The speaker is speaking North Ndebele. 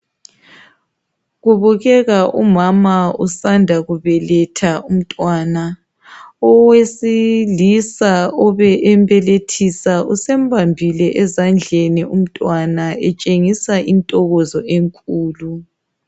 Kubukeka umama usanda kubeletha umntwana owesilisa obe embelethisa usembambile ezandleni umntwana etshengisa intokozo enkulu.